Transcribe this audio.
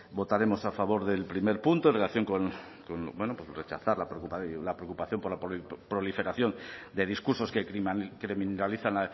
votaremos a favor del primer punto en relación con bueno rechazar la preocupación por la proliferación de discursos que criminalizan